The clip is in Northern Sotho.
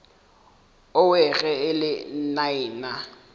owe ge e le nnaena